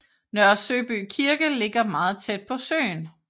Nørre Søby Kirke ligger meget tæt på søen